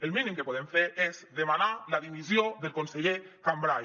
el mínim que podem fer és demanar la dimissió del conseller cambray